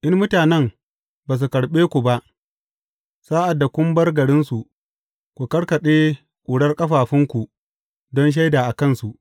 In mutane ba su karɓe ku ba, sa’ad da kun bar garinsu, ku karkaɗe ƙurar ƙafafunku don shaida a kansu.